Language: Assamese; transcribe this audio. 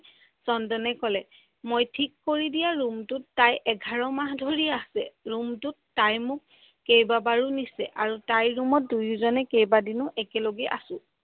চন্দনে ক'লে মই থিক কৰি দিয়া ৰুমটোত তাই এঘাৰ মাহ ধৰি আছে, ৰুমটোত তাই মোক কেইবা বাৰো নিচে আৰু তাই ৰুমত দুয়োজনে কেইবাদিনো একে লগে আছো।